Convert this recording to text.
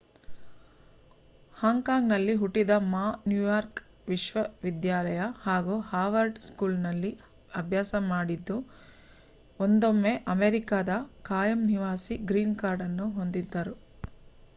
ಹಾಂಗ್ Kong ನಲ್ಲಿ ಹುಟ್ಟಿದ Ma New York ವಿಶ್ವ ವಿದ್ಯಾಲಯ ಹಾಗೂ ಹಾರ್ವರ್ಡ್ ಸ್ಕೂಲ್ ನಲ್ಲಿ ಅಭ್ಯಾಸ ಮಾಡಿದ್ದು ಒಂದೊಮ್ಮೆ ಅಮೇರಿಕಾದ ಖಾಯಂ ನಿವಾಸಿ ಗ್ರೀನ್ ಕಾರ್ಡ್ ಅನ್ನು ಹೊಂದಿದ್ದರು